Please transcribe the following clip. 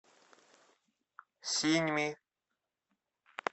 синьми